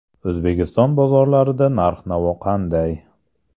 O‘zbekiston bozorlarida narx-navo qanday?.